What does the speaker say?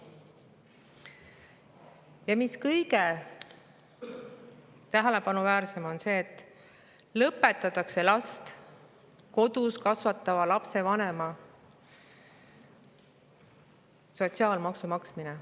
Ja kõige tähelepanuväärsem on see, et riik lõpetab last kodus kasvatava lapsevanema eest sotsiaalmaksu maksmise.